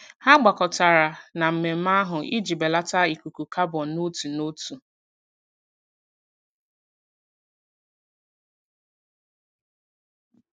Ha gbakọtara na mmemme ahụ iji belata ikuku kabọn n'otu n'otu.